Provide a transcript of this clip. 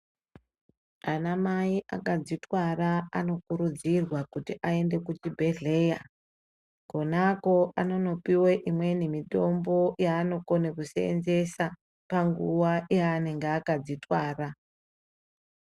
Ana mai anodzitwara anokurudzirwa kuchibhedhlera Kona Ako anopihwa mitombo yanokona kusenzesaa panguwa yanenge akadzitwara.